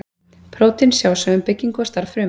Prótín sjá svo um byggingu og starf fruma.